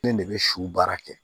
Ne de bɛ su baara kɛ